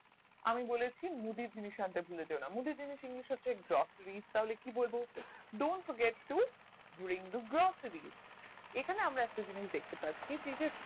আমি বলেছি মুদির জিনিস আন্তে ভুলে যেওনা মুদি জিনিস english হচ্ছে groceries তাহলে কি বলবো don't forget to during the glossary এখানে আমরা একটা জিনিস দেখতে পাচ্ছি যেটা